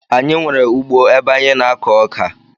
Anyi nwere ugbo ebe anyi na ako oka